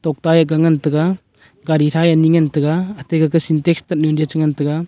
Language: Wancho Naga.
opae ka ngan taiga gari thae anyi ngan taiga ate kake syntex tatnu le chingan taiga.